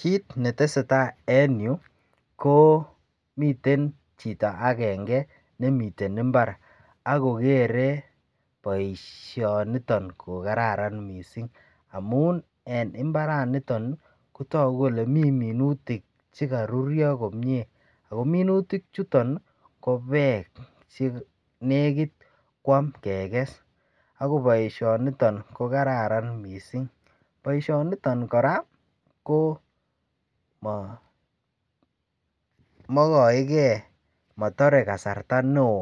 kiit netesetai en yuu koo miten chiton agenge nemiten imbaar agogere boishoniton kogararan mising amuun en imbaraaniton iih kotogu kole mii minutik chegaruryo komyee, ago minutik chuton iih ko beek nenegit kwaam keges ago boishoniton kogararan mising, boishoniton koraa koo maah moigoegee motore kasarta neoo